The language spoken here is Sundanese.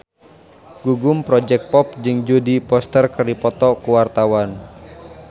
Gugum Project Pop jeung Jodie Foster keur dipoto ku wartawan